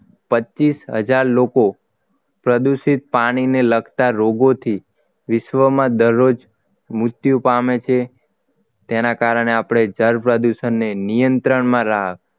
પચીશ હજાર લોકો પ્રદૂષિત પાણી ને લગતા રોગોથી વિશ્વમાં દરરોજ મૃત્યુ પામે છે તેના કારણે આપણે જળ પ્રદૂષણને નિયંત્રણમાં રાખ